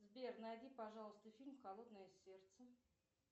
сбер найди пожалуйста фильм холодное сердце